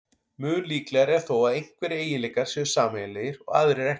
Mun líklegra er þó að einhverjir eiginleikar séu sameiginlegir og aðrir ekki.